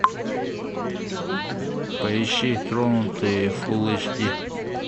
поищи тронутые фул эйч ди